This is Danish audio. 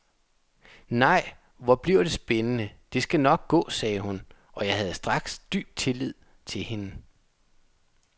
Nej, hvor bliver det spændende, det skal nok gå sagde hun, og jeg havde straks dyb tillid til hende.